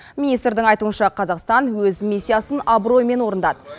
министрдің айтуынша қазақстан өз миссиясын абыроймен орындады